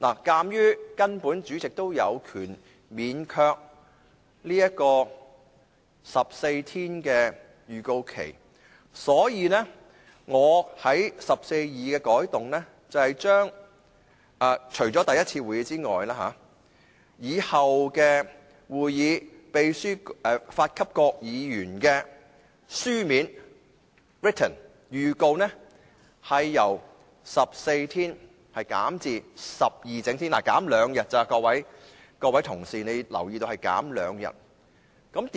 鑒於主席也有權免卻14整天前的預告期，所以，我對第142條的改動是，除首次會議外，以後的會議，秘書發給各議員的書面預告，由14整天減至12整天，各位同事，請留意只是減少兩天而已。